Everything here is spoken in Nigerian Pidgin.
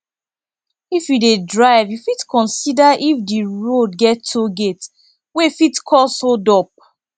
if you dey drive you fit consider if di road get toll gate wey fit cause hold up